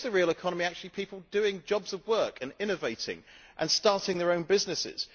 Or is the real economy actually people doing jobs of work and innovating and starting their own businesses?